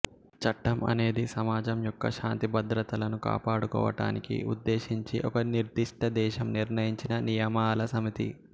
చట్టం అనేది సమాజం యొక్క శాంతి భద్రతలను కాపాడుకోవటానికి ఉద్దేశించి ఒక నిర్దిష్ట దేశం నిర్ణయించిన నియమాల సమితి